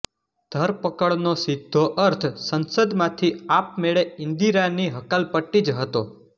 ધરપકડનો સીધો અર્થ સંસદમાંથી આપમેળે ઈન્દિરાની હકાલપટ્ટી જ હતો